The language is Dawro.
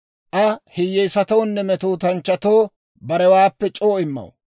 Aa hiyyeesatoonne metootanchchatoo barewaappe c'oo immaw.